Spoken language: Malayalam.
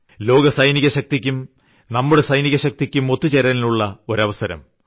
ലോകസൈന്യശക്തിയ്ക്കും നമ്മുടെ സൈന്യശക്തിയ്ക്കും ഒത്തുചേരലിനുള്ള ഒരു അവസരം